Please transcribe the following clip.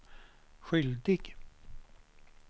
skyldig